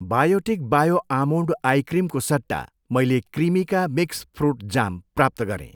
Biotic bio almond eye क्रिमको सट्टा, मैले क्रिमिका मिक्स फ्रुट जाम प्राप्त गरेँ।